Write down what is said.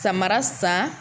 Sabara san